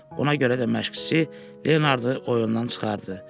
Buna görə də məşqçi Leonardı oyundan çıxartdı.